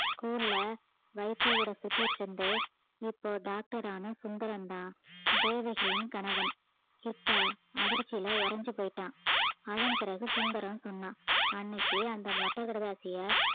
school ல வைத்தியர் கூட சுத்திக்கிட்டு இருந்து இப்போ doctor ஆன சுந்தரம்தான் தேவகியின் கணவன் கிட்டா அதிர்ச்சியில உறைஞ்சு போயிட்டான் அதன் பிறகு சுந்தரம் சொன்னான் அன்னைக்கு அந்த மொட்டை கடிதாசியா